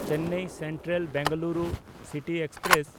Chennai Central-Bengaluru city express